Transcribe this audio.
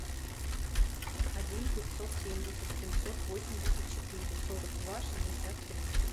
один пятьсот семьдесят семьсот восемьдесят четыре сорок два шестьдесят три